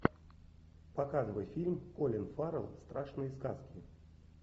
показывай фильм колин фаррелл страшные сказки